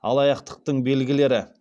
алаяқтықтың белгілері